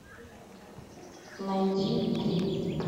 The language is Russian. найти три